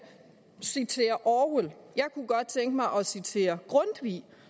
citerer orwell jeg kunne godt tænke mig at citere grundtvig